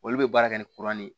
Olu bɛ baara kɛ ni kuran de ye